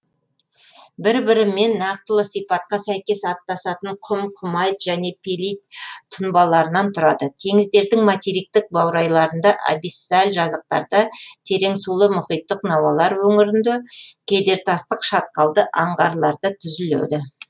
бір бірімен нақтылы сипатқа сәйкес астасатын құм құмайт және пелит тұнбаларынан тұрады теңіздердің материктік баурайларында абиссаль жазықтарда тереңсулы мұхиттық науалар өңірінде кедертастық шатқалды аңғарларды түзіледі